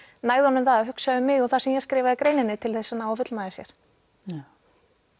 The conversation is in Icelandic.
nægði honum það að hugsa um mig og það sem ég skrifaði í greininni til þess að ná að fullnægja sér já